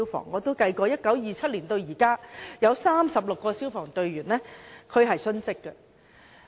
我也計算過，由1927年至今，已有36名消防員殉職。